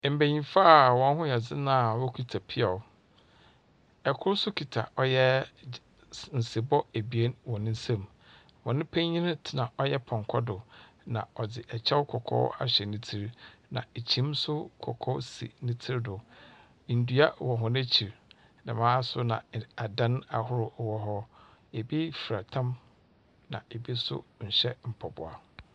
Mbenyifo aa wɔn ho yɛ dzen aa wɔkita piaw. Ɛkor so kita ɔyɛɛ nsebɔ ebien wɔ ne nsem. Wɔn panyin tena ɔyɛ pɔnkɔ do na ɔdze ɛkyɛw kɔkɔɔ ahyɛ ne tir, na ekyim so kɔkɔɔ si ne tir do. Ndua wɔ wɔn akyir, dɛmaa nso na adan ahorow wɔ hɔ. Ebi fra tam na ebi so hyɛ mpaboa.